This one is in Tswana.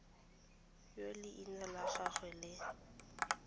yo leina la gagwe le